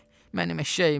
Mənim eşşəyimi!